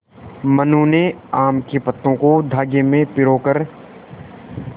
मनु ने आम के पत्तों को धागे में पिरो कर